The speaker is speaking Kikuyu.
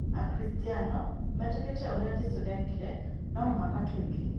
Akristiano metĩkĩtie ũrĩa Jesũ eekire no muhaka twĩke